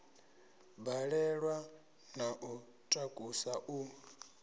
balelwa na u takusa u